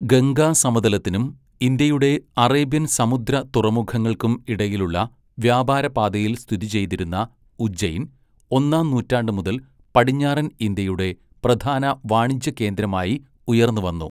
ഗംഗാസമതലത്തിനും ഇന്ത്യയുടെ അറേബ്യൻ സമുദ്ര തുറമുഖങ്ങൾക്കും ഇടയിലുള്ള വ്യാപാരപാതയിൽ സ്ഥിതിചെയ്തിരുന്ന ഉജ്ജൈൻ, ഒന്നാംനൂറ്റാണ്ട് മുതൽ പടിഞ്ഞാറൻ ഇന്ത്യയുടെ പ്രധാന വാണിജ്യ കേന്ദ്രമായി ഉയർന്നുവന്നു.